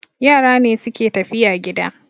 Yara ne suke tafiya gida